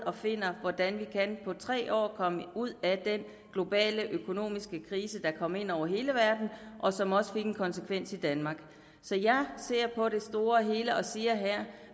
og finder hvordan vi på tre år komme ud af den globale økonomiske krise der kom ind over hele verden og som også fik en konsekvens i danmark så jeg ser på det store hele og siger her at